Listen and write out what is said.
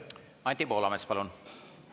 Anti Poolamets, palun!